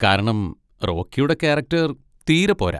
കാരണം റോക്കിയുടെ കാരക്ടർ തീരെ പോരാ.